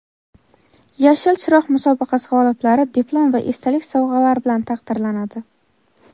"Yashil chiroq" musobaqasi g‘oliblari diplom va esdalik sovg‘alar bilan taqdirlanadi.